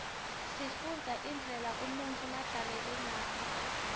sifunbza indlela unutfu labzaleke ngayo